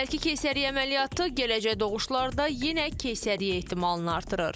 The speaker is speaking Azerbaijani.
Əvvəlki keysəriyyə əməliyyatı gələcək doğuşlarda yenə keysəriyyə ehtimalını artırır.